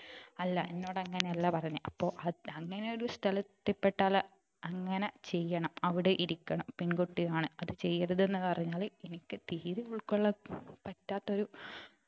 അല്ല എന്നോട് അങ്ങനെ അല്ല പറഞ്ഞെ അപ്പൊ അ അങ്ങനെ ഒരു സ്ഥലത്ത് എത്തിപ്പെട്ടാല് അങ്ങനെ ചെയ്യണം അവിടെ ഇരിക്കണം പെൺകുട്ടിയാണ് അത് ചെയ്യരുത് എന്ന് പറഞ്ഞാൽ എനിക്ക് തീരെ ഉൾക്കൊള്ളാൻ പറ്റാത്ത ഒരു